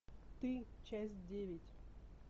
ты часть девять